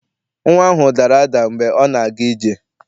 Nnwa ahụ dara ada mgbe ọ na-aga ije.